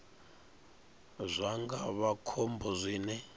zwa nga vha khombo zwine